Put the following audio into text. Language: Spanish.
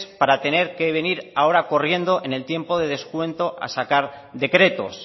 para tener que venir ahora corriendo en el tiempo de descuento a sacar decretos